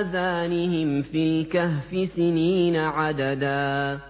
آذَانِهِمْ فِي الْكَهْفِ سِنِينَ عَدَدًا